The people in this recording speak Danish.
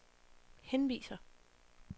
henviser